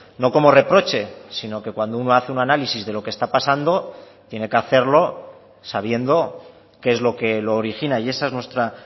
no como reproche sino que cuando uno hace un análisis de lo que está pasando tiene que hacerlo sabiendo que es lo que lo origina y esa es nuestra